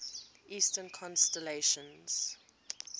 eastern constellations